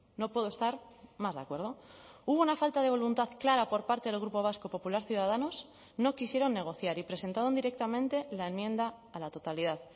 no puedo estar más de acuerdo hubo una falta de voluntad clara por parte del grupo vasco popular ciudadanos no quisieron negociar y presentaron directamente la enmienda a la totalidad